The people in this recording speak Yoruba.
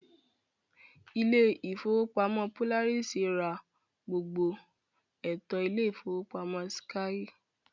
Ilé ìfowópamọ́ Polaris ra gbogbo ẹ̀tọ́ Ilé ìfowópamọ́ skye